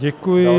Děkuji.